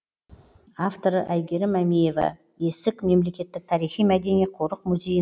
авторы айгерім әмиева есік мемлекеттік тарихи мәдени қорық музейі